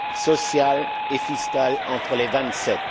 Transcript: sociales et fiscales entre les Vingt sept.